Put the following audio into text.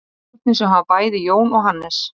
Stjórnir sem hafa bæði Jón og Hannes.